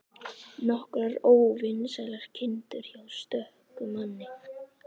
Nokkrar óvinsælar kindur hjá stöku manni.